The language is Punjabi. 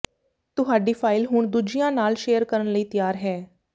ਤੁਹਾਡੀ ਫਾਈਲ ਹੁਣ ਦੂਜਿਆਂ ਨਾਲ ਸ਼ੇਅਰ ਕਰਨ ਲਈ ਤਿਆਰ ਹੈ